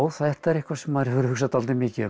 þetta er eitthvað sem maður hefur hugsað dálítið mikið um